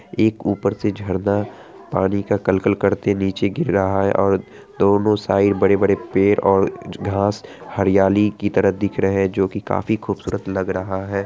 एक उपर से झरना पानी का कल कल करते नीचे गिर रहा है ओर दोनों साइड बड़े बड़े पेड़ और घास हरियाली की तरह दिख रहे है जो की काफी खूबसूरत लग रहा है ।